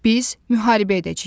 Biz müharibə edəcəyik.